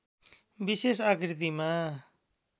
विशेष आकृतिमा